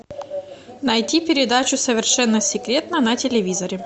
найти передачу совершенно секретно на телевизоре